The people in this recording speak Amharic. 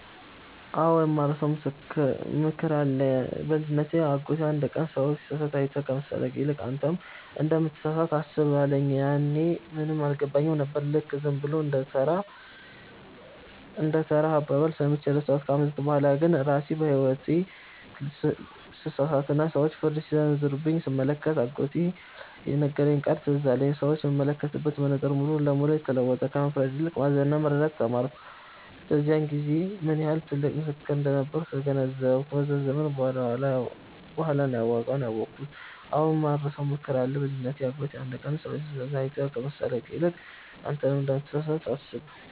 አዎ፣ የማልረሳው ምክር አለ። በልጅነቴ አጎቴ አንድ ቀን “ሰው ሲሳሳት አይተህ ከመሳለቅ ይልቅ፣ አንተም እንደምትሳሳት አስብ” አለኝ። ያኔ ምንም አልገባኝም ነበር፤ ልክ ዝም ብሎ እንደ ተራ አባባል ሰምቼ ረሳሁት። ከዓመታት በኋላ ግን ራሴ በሕይወቴ ስሳሳትና ሰዎች ፍርድ ሲሰነዘሩብኝ ስመለከት፣ አጎቴ የነገረኝ ቃል ትዝ አለኝ። ሰዎችን የምመለከትበት መነጽር ሙሉ ለሙሉ ተለወጠ፤ ከመፍረድ ይልቅ ማዘንና መረዳትን ተማርኩ። በዚያን ጊዜ ምን ያህል ጥልቅ ምክር እንደነበር ተገነዘብኩ፤ ከብዙ ዘመን በኋላ ነው ዋጋውን ያወኩት።